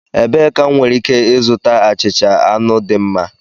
Ebee ka m nwere ike ịzụta achịcha anụ dị mma?